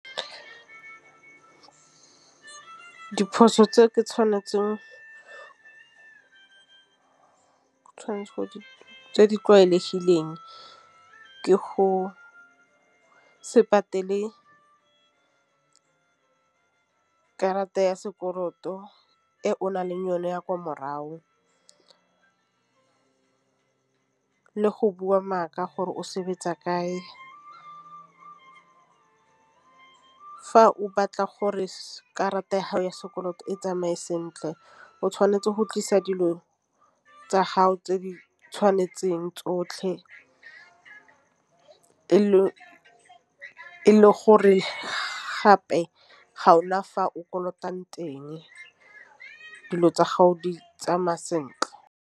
Diphoso tse ke tšhwanetse tse di tlwaelegileng ke go se patele karata ya sekoloto e o na leng yone ya kwa morago, le go bua maaka gore o sebetsa kae. Fa o batla gore karata ya gago ya sekoloto e tsamaya sentle o tšhwanetse go tlisa dilo tsa gago tse di tshwanetseng tsotlhe e le gore gape ga ona fa o kolotang teng dilo tsa gago di tsamaya sentle.